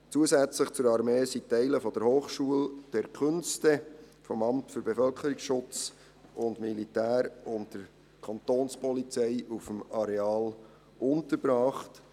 Zusätzlich zur Armee sind Teile der Hochschule der Künste (HKB), des Amts für Bevölkerungsschutz und Militär (BSM) und der Kantonspolizei auf dem Areal untergebracht.